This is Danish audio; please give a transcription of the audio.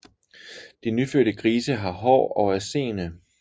De nyfødte grise har hår og er seende